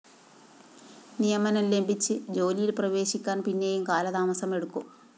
നിയമനം ലഭിച്ച് ജോലിയില്‍ പ്രവേശിക്കാന്‍ പിന്നെയും കാലതാമസം എടുക്കും